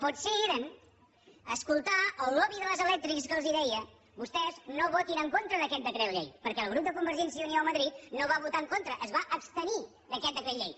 potser eren a escoltar el lobby de les elèctriques que els deia vostès no votin en contra d’aquest decret llei perquè el grup de convergència i unió a madrid no hi va votar en contra es va abstenir d’aquest decret llei